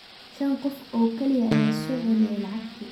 Shan qof oo kaliya ayaa soo celiyay lacagtii.